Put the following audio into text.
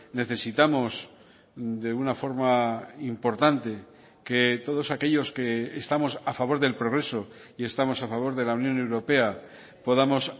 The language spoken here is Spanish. necesitamos de una forma importante que todos aquellos que estamos a favor del progreso y estamos a favor de la unión europea podamos